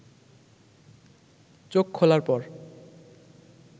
চোখ খোলার পর